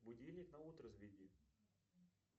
будильник на утро заведи